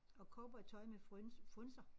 Og cowboytøj med frynser